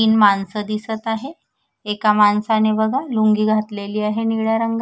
तीन माणस दिसत आहे एका माणसाने बघा लुंगी घातलेली आहे निळ्या रंगा--